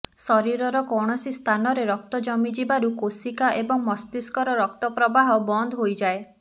ଶରୀରର କୌଣସି ସ୍ଥାନରେ ରକ୍ତ ଜମିଯିବାରୁ କୋଶିକା ଏବଂ ମସ୍ତିଷ୍କର ରକ୍ତପ୍ରବାହ ବନ୍ଦ ହୋଇଯାଏ